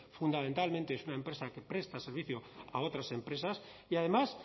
fundamentalmente es una empresa que presta servicio a otras empresas y además